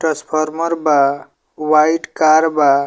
Transformer बा वाइट कार बा।